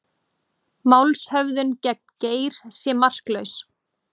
Málshöfðun gegn Geir sé marklaus